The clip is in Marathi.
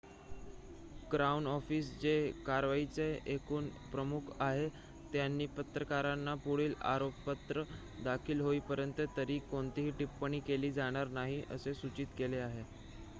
क्राउन ऑफिस जे कारवाईचे एकूण प्रमुख आहेत त्यांनी पत्रकारांना पुढील आरोपपत्र दाखल होईपर्यंत तरी कोणतीही टिप्पणी केली जाणार नाही असे सूचित केले आहे